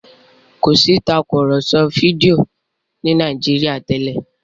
kọ sí Tàkùrọ̀sọ fídíò ni Nàìjíríà tèlé